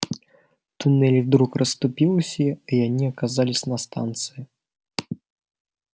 туннель вдруг расступился и они оказались на станции